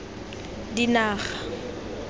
dinaga